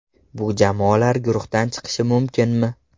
Bu jamoalar guruhdan chiqishi mumkinmi?